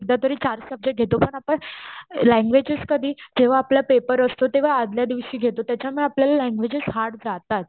सध्यातरी चार सबजेक्टस घेतो पण आपण ल्यांग्युअगेस कधी जेव्हा आपला पेपर असतो त्याच्या आदल्या दिवशी घेतो.त्याच्यामुळे आपल्याला ल्ल्यांग्युएजेस हार्ड जातात.